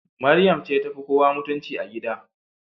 Mariam ce tafi kowa mutunci a gida.